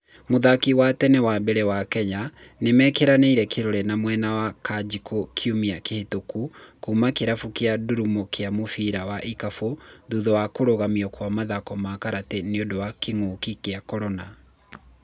Mũthaki wa tene wa mbere wa Kenya nĩ mekĩranĩire kĩrore na mwena wa Kanjikũ kiumia kĩhĩtũku kuma kĩrabu kĩa Ndurumo kĩa mũbira wa ikabũ thutha wa kũrũgamio kwa mathako Karate nĩũndũ wa kĩngũki kĩa korona.